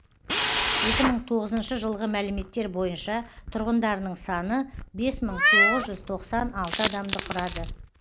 екі мың тоғызыншы жылғы мәліметтер бойынша тұрғындарының саны бес мың тоғыз жүз тоқсан алты адамды құрады